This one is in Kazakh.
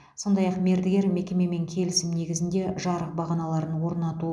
сондай ақ мердігер мекемемен келісім негізінде жарық бағаналарын орнату